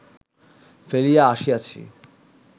ফেলিয়া আসিয়াছি